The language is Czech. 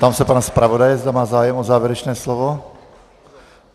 Ptám se pana zpravodaje, zda má zájem o závěrečné slovo.